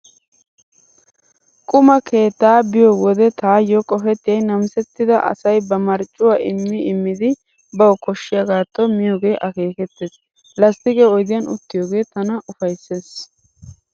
Qumaa keettaa be'iyo wode taayyo qopettiyay namisettida asay ba marccuwaa immi immidi bawu koshshaagaatto miyoogee akeekettees. Lasttiqe oydiyan uttiyoogee tana ufayssees.